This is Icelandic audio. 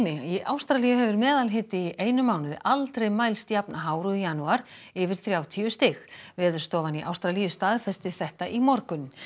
í Ástralíu hefur meðalhiti í einum mánuði aldrei mælst jafn hár og í janúar yfir þrjátíu stig Veðurstofan í Ástralíu staðfesti þetta í morgun